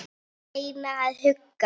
Reyna að hugga.